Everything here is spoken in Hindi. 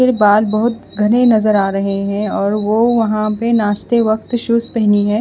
ये बाल बहुत घने नजर आ रहे और वो वहां पे नाचते वक्त शूज पहनी है।